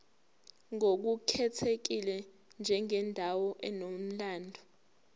ngokukhethekile njengendawo enomlando